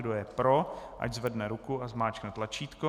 Kdo je pro, ať zvedne ruku a zmáčkne tlačítko.